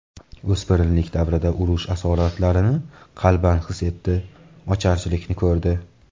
O‘spirinlik davrida urush asoratlarini qalban his etdi, ocharchilikni ko‘rdi.